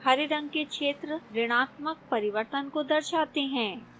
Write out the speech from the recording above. हरे रंग के क्षेत्र ऋणात्मक परिवर्तन को दर्शाते हैं